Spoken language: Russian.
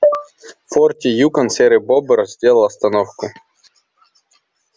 в форте юкон серый бобр сделал остановку